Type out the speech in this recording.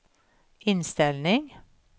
inställning